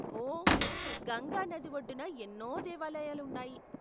ఓ, గంగా నది ఒడ్డున ఎన్నో దేవాలయాలు ఉన్నాయి.